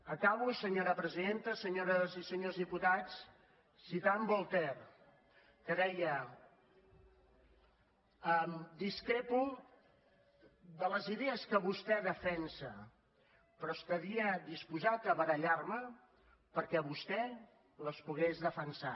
acabo senyora presidenta senyores i senyors diputats citant voltaire que deia discrepo de les idees que vostè defensa però estaria disposat a barallar me perquè vostè les pogués defensar